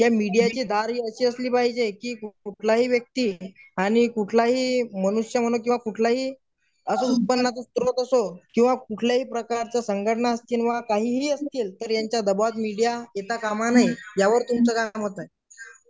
हे मीडियाची धार ही अशी असली पाहिजे की कुठला ही व्यक्ती आणि कुठलाही मनुष्य म्हणून कुठलाही किंवा कुठलाही प्रकारची संघट्ना असतील किंवा काहीही तर याच्या दबावात मीडिया येता कामा नये यावर तुमचं काय मत आहे?